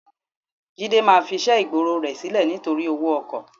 Jídé máa fiṣẹ́ ìgboro rẹ sílẹ̀ nítorí owó ọkọ̀.